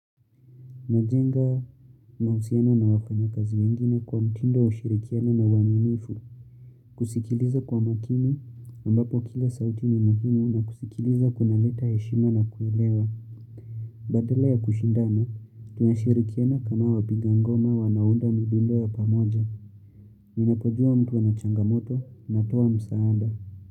Najenga mahusiana na wafanya kazi wengine kwa mtindowa ushirikiano na uaminifu. Kusikiliza kwa makini ambapo kila sauti ni muhimu na kusikiliza kuna leta heshima na kuelewa. Badala ya kushindana, tunashirikiana kama wapigangoma wanaounda midundo ya pamoja. Ninapojua mtu ana changamoto na toa msaada.